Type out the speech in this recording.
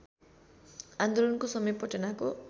आन्दोलनको समय पटनाको